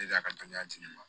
E de y'a ka dɔnniya di ne ma